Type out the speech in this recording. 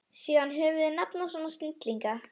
Síðan höfum við nafn á svona snillinga.